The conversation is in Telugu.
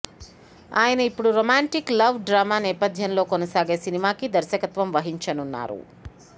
అయన ఇప్పుడు రొమాంటిక్ లవ్ డ్రామా నేపధ్యంలో కొనసాగే సినిమాకి దర్శకత్వం వహించనున్నారు